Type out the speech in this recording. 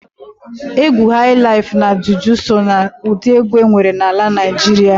Egwu hailaif na juju so na udi egwu enwere n'ala Naijịrịa.